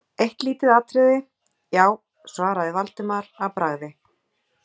Eitt lítið atriði, já- svaraði Valdimar að bragði.